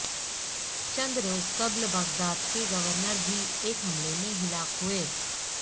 چند روز قبل بغداد کے گورنر بھی ایک حملے میں ہلاک ہوئے